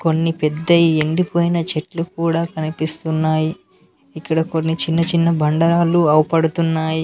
కొన్ని పెద్దయి ఎండిపోయిన చెట్లు కూడా కనిపిస్తున్నాయి ఇక్కడ కొన్ని చిన్న చిన్న బండరాళ్లు అవ్పడ్తున్నాయి.